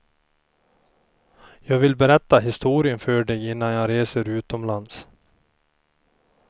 Jag vill berätta historien för dig innan jag reser utomlands.